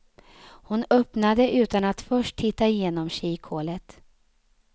Hon öppnade utan att först titta genom kikhålet.